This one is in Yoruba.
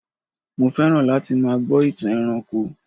mo fẹràn láti má gbó itan ẹranko